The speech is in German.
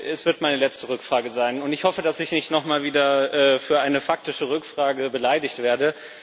Das wird meine letzte Rückfrage sein und ich hoffe, dass ich nicht noch einmal für eine faktische Rückfrage beleidigt werde.